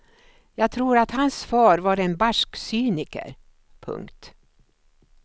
Jag tror att hans far var en barsk cyniker. punkt